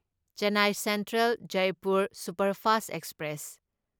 Chennai central Jaipur superfast express